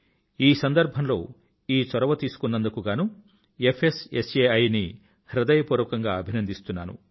ఈ సందర్భం లో ఈ చొరవతీసుకున్నందుకు గానూ ఫ్స్సాయి ని హృదయపూర్వకంగా అభినందిస్తున్నాను